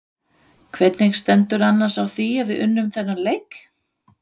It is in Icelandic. Hvernig stendur annars á að við unnum þennan leik?